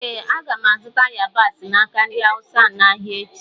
Ee, aga m azụta yabasị n’aka ndị Awụsa ahụ n’ahịa echi.